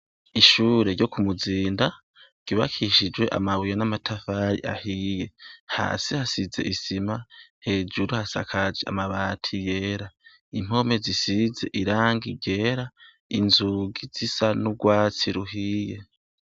Ishure ryo kumuzinda ryubakishijwe amabuye n' amatafari ahiye hasi hasize isima hejuru hasakaje amabati yera impome zisize irangi ryera inzugi rusa n' ugwatsi ruhiye.